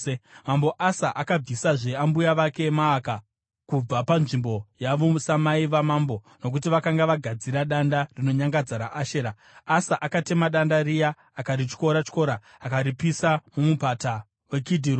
Mambo Asa akabvisazve ambuya vake Maaka kubva panzvimbo yavo samai vamambo nokuti vakanga vagadzira danda rinonyangadza raAshera. Asa akatema danda riya akarityora-tyora akaripisa muMupata weKidhironi.